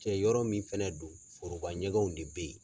Cɛ yɔrɔ min fɛnɛ do foroba ɲɛgɛnw de bɛ ye.